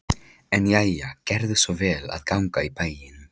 En jæja, gerðu svo vel að ganga í bæinn.